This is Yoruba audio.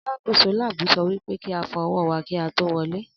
Alákòóso láàbù so wípé kíá fọ ọwọ́ wà kíá tó wọlé